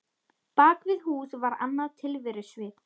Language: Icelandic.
Bak við hús var annað tilverusvið.